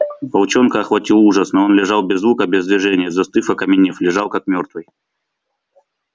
волчонка охватил ужас но он лежал без звука без движения застыв окаменев лежал как мёртвый